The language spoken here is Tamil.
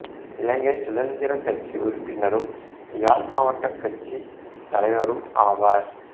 இலங்கை சுதந்திரக் கட்சி உறுப்பினரும் யாழ் மாவட்டக் கட்சித் தலைவரும் ஆவார்